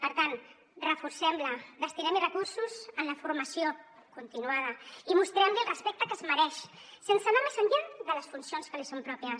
per tant reforcem la destinem hi recursos en la formació continuada i mostrem li el respecte que es mereix sense anar més enllà de les funcions que li són pròpies